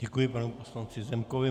Děkuji panu poslanci Zemkovi.